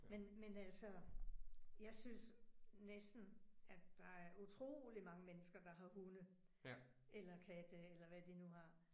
Men men altså. Jeg synes næsten, at der er utroligt mange mennesker, der har hunde. Eller katte, eller hvad de nu har